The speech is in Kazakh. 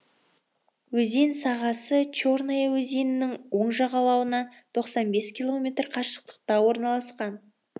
өзен сағасы черная өзенінің оң жағалауынан тоқсан бес километр қашықтықта орналасқан